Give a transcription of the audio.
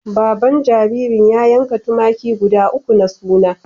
Baban jaririn ya yanka tumaki guda uku na suna.